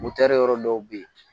yɔrɔ dɔw bɛ yen